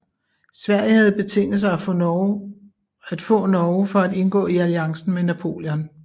Sverige havde betinget sig at få Norge for at indgå i alliancen mod Napoleon